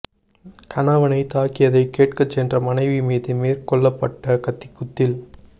கணவனை தாக்கியதைக் கேட்கச் சென்ற மனைவி மீது மேற்க் கொள்ளப்பட்ட கத்திக்குத்தில்